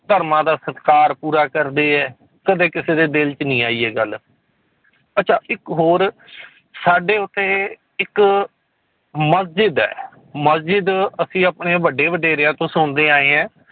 ਧਰਮਾਂ ਦਾ ਸਤਿਕਾਰ ਪੂਰਾ ਕਰਦੇ ਹੈ, ਕਦੇ ਕਿਸੇ ਦੇ ਦਿੱਲ 'ਚ ਨੀ ਆਈ ਇਹ ਗੱਲ, ਅੱਛਾ ਇੱਕ ਹੋਰ ਸਾਡੇ ਉੱਥੇ ਇੱਕ ਮਸਜਿਦ ਹੈ ਮਸਜਿਦ ਅਸੀਂ ਆਪਣੇ ਵੱਡੇ ਵਡੇਰਿਆਂ ਤੋਂ ਸੁਣਦੇ ਆਏ ਹੈ